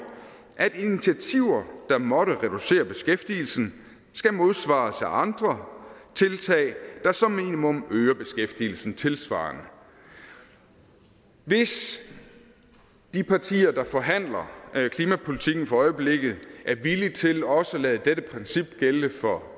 at initiativer der måtte reducere beskæftigelsen skal modsvares af andre tiltag der som minimum øger beskæftigelsen tilsvarende hvis de partier der forhandler klimapolitikken for øjeblikket er villige til også at lade dette princip gælde for